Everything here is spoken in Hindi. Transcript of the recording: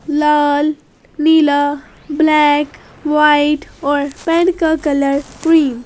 लाल नीला ब्लैक वाइट और पेंट का कलर ग्रीन ।